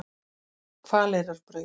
Hvaleyrarbraut